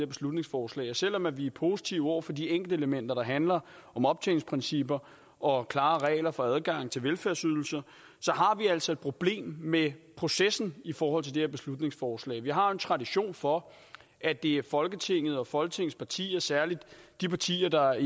beslutningsforslag selv om vi er positive over for de enkeltelementer der handler om optjeningsprincipper og klare regler for adgang til velfærdsydelser har vi altså et problem med processen i forhold til det her beslutningsforslag vi har jo en tradition for at det er folketinget og folketingets partier særlig de partier der